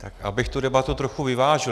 Abych tu debatu trochu vyvážil.